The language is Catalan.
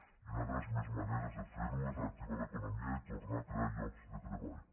i una de les millors maneres de fer ho és reactivar l’economia i tornar a crear llocs de treball